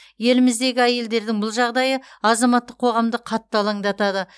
еліміздегі әйелдердің бұл жағдайы азаматтық қоғамды қатты алаңдатады